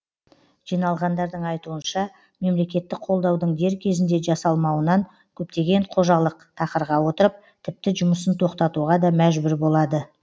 жиналғандардың айтуынша мемлекеттік қолдаудың дер кезінде жасалмауынан көптеген қожалық тақырға отырып тіпті жұмысын тоқтатуға да мәжбүр болады